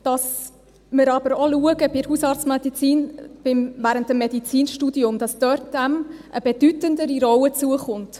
Ganz wichtig ist, dass wir bei der Hausarztmedizin auch schauen, dass dieser während des Medizinstudiums eine bedeutendere Rolle zukommt.